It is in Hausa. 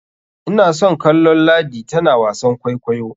Ina son kallon ladi tana wasan kwaikwayo.